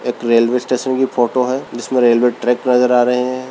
एक railway station की photo है जिसमे रेलवे ट्रैक नजर आ रहे है।